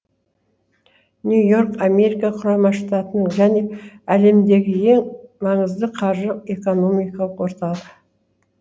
нью йорк америка құрама штаттарының және әлемдегі ең маңызды қаржы экономикалық орталық